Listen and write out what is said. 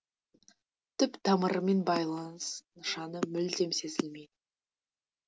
түп тамырымен байланыс нышаны мүлдем сезілмейді